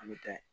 An bɛ taa